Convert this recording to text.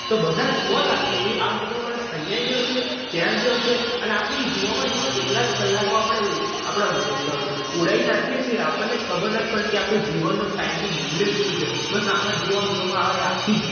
તો બધા જ જોવા લાગશે કે આ મોટો માણસ અહિયા એ ગયો હશે, ત્યાં ગયો હશે. અને આપણે ઈ જોવામાં જોવામાં કેટલાક કલાકો આપડા ઉ આપડા ઉ ક ઉડાય નાંખીયે છે આપણેને જ ખબર નથી પડતી કે આપણા જીવવાના time નું મૂલ્ય શું છે. બસ એમાં જોવામાં જોવામાં અ એ આખી